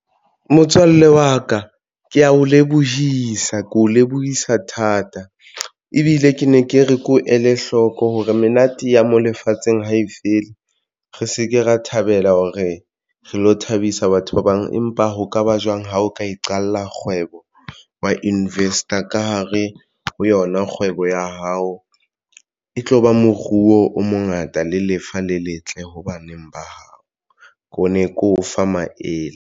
Motswalle wa ka ke ya o lebohisa ko lebohisa thata ebile ke ne ke re, ke o ele hloko hore menate ya mo lefatsheng ha e fele. Re se ke ra thabela hore re lo thabisa batho ba bang. Empa ho kaba jwang ha o ka iqalla kgwebo wa invest-a ka hare ho yona kgwebo ya hao e tloba moruo o mongata le lefa le letle ho baneng ba hao ko ne ke o fa maele.